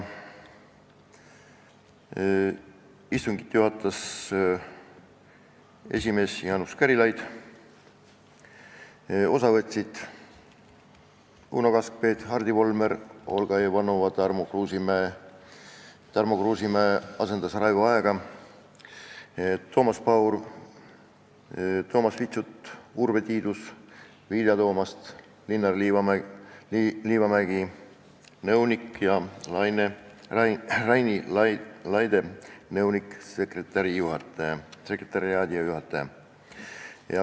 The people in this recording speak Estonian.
Istungit juhatas esimees Jaanus Karilaid, osa võtsid Uno Kaskpeit, Hardi Volmer, Olga Ivanova, Tarmo Kruusimäe, kes asendas Raivo Aegi, Toomas Paur, Toomas Vitsut, Urve Tiidus, Vilja Toomast, nõunik Linnar Liivamägi ja nõunik-sekretariaadijuhataja Raini Laide.